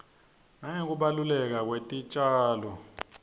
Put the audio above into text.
nangekubaluleka kwetitjalo